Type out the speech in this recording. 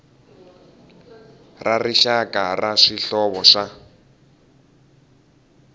ra rixaka ra swihlovo swa